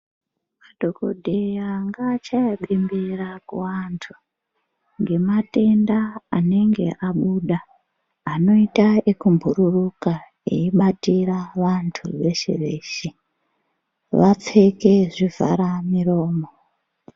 Madhokodheya ngaachaye bembera kuantu ngematenda anenge abuda anoita ekubhururuka eibatira vantu veshe-veshe vapfeke zvivhara miromo.